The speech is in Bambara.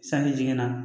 Sanji jiginna